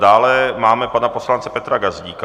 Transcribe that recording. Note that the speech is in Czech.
Dále máme pana poslance Petra Gazdíka.